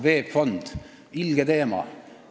VEB Fond – ilge teema.